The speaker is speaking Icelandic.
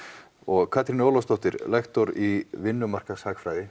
og Katrín Ólafsdóttir lektor í